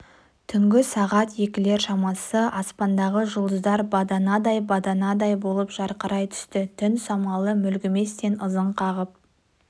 түнгі сағат екілер шамасы аспандағы жұлдыздар баданадай баданадай болып жарқырай түсті түн самалы мүлгіместен ызың қағып